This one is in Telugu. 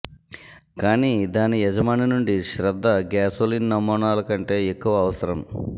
కానీ దాని యజమాని నుండి శ్రద్ధ గ్యాసోలిన్ నమూనాల కంటే ఎక్కువ అవసరం